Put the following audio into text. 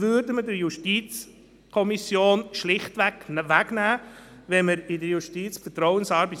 Das waren garantiert nicht scheue Leute, die sich nicht für ihre eigene Gesundheit oder gegen ihre Überbelastung zu wehren getraut hätten.